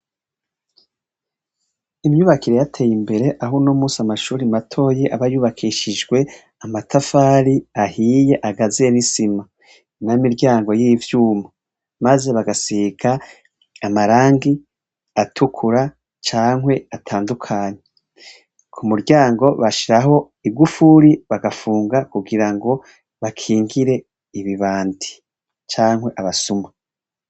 Imyubakire yateye imbere ahu no musi amashuri matoye abayubakishijwe amatafari ahiye agazena isima na miryango y'ivyuma, maze bagasika amarangi atukura cankwe atandukanyi ku muryango bashiraa abo igufuri bagafunga kugira ngo bakingire ibibandi cankwe abasuma.